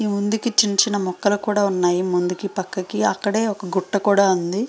ముందుకి చిన్న చిన్న మొక్కలు కూడా ఉన్నాయి ముందుకి పక్కకి అక్కడే చిన్న గుట్ట కూడా ఉన్నది .